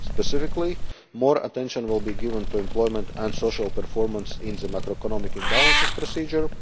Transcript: Specifically, more attention will be given to employment and social performance in the macro economic imbalances procedure.